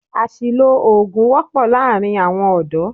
Àṣìlò oògùn wọ́pọ́ láàárín àwọn ọ̀dọ́.